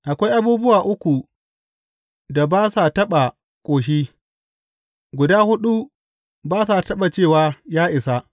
Akwai abubuwa uku da ba sa taɓa ƙoshi, guda huɗu ba sa taɓa cewa, Ya isa!’